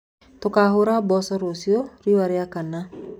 Tũkahũra mboco rũciũ riũa riakana.